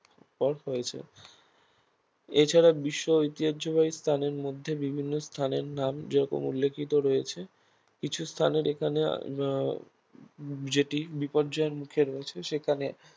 এরপর হয়েছে এছাড়া বিশ্ব ঐতিহ্যবাহী স্থানের মধ্যে বিভিন্ন স্থানের নাম যেরকম উল্লেখিত রয়েছে কিছু স্থানের এখানে আহ যেটি বিপর্যয়ের মুখে রয়েছে সেখানে